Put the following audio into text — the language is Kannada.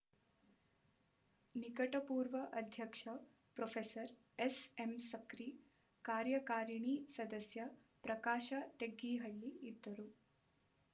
ನಿಕಟಪೂರ್ವ ಅಧ್ಯಕ್ಷ ಪ್ರೋಫೇಸರ್ ಎಸ್ ಎಂ ಸಕ್ರಿ ಕಾರ್ಯಕಾರಿಣಿ ಸದಸ್ಯ ಪ್ರಕಾಶ ತೆಗ್ಗಿಹಳ್ಳಿ ಇದ್ದರು